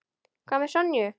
Hvað með Sonju?